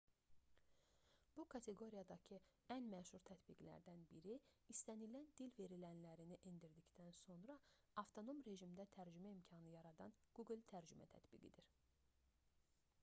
bu kateqoriyadakı ən məşhur tətbiqlərdən biri istənilən dil verilənlərini endirdikdən sonra avtonom rejimdə tərcümə imkanı yaradan google tərcümə tətbiqidir